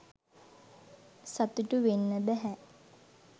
සතුටු වෙන්න බැහැ.